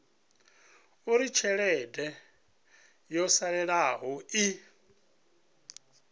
uri tshelede yo salelaho i